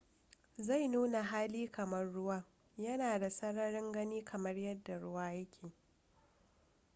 zai nuna hali kamar ruwa yana da sararin gani kamar yadda ruwa yake